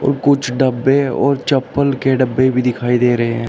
और कुछ डब्बे और चप्पल के डब्बे भी दिखाई दे रहे हैं।